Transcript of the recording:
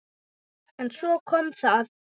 En svo kom það.